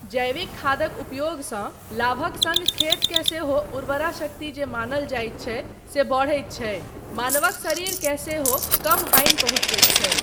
जैविक खादक उपयोगसँ लाभक सङ्ग खेतकेँ सेहो उर्वरा शक्ति जे मानल जाइत छै से बढैत छै मानवक शरीरकेँ सेहो कम हानि पहुँचबैत छै।